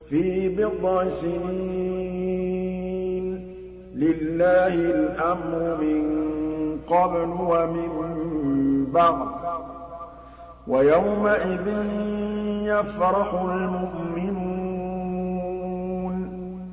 فِي بِضْعِ سِنِينَ ۗ لِلَّهِ الْأَمْرُ مِن قَبْلُ وَمِن بَعْدُ ۚ وَيَوْمَئِذٍ يَفْرَحُ الْمُؤْمِنُونَ